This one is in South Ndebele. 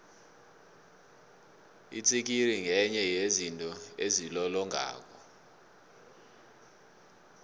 itsikiri ngenye yezinto ezilolongako